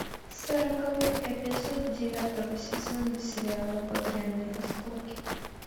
сороковой эпизод девятого сезона сериала багряные осколки